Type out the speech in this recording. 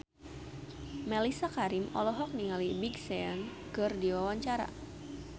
Mellisa Karim olohok ningali Big Sean keur diwawancara